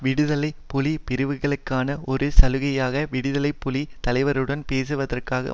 விடுதலை புலி பிரிவுகளுக்கான ஒரு சலுகையாக விடுதலை புலி தலைவருடன் பேசுவதற்காக